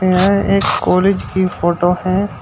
यह एक कॉलेज की फोटो है।